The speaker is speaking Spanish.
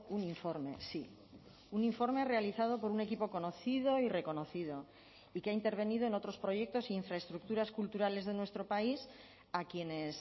un informe sí un informe realizado por un equipo conocido y reconocido y que ha intervenido en otros proyectos e infraestructuras culturales de nuestro país a quienes